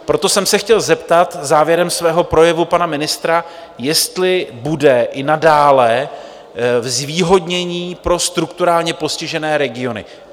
Proto jsem se chtěl zeptat závěrem svého projevu pana ministra, jestli bude i nadále zvýhodnění pro strukturálně postižené regiony.